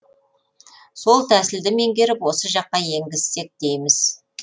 сол тәсілді меңгеріп осы жаққа енгізсек дейміз